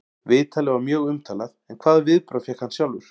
Viðtalið var mjög umtalað en hvaða viðbrögð fékk hann sjálfur?